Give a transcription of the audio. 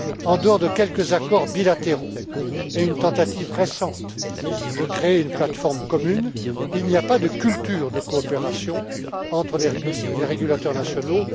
En dehors de quelques accords bilatéraux et d'une tentative récente de créer une plateforme commune, il n'y a pas de culture de coopération entre les régulateurs nationaux.